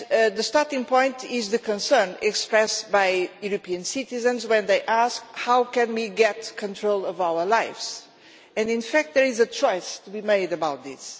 The starting point is the concern expressed by European citizens when they ask how we can get control of our lives, and in fact there is a choice to be made about this.